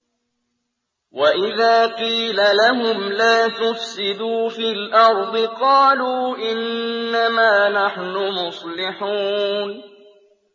وَإِذَا قِيلَ لَهُمْ لَا تُفْسِدُوا فِي الْأَرْضِ قَالُوا إِنَّمَا نَحْنُ مُصْلِحُونَ